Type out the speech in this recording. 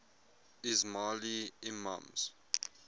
ismaili imams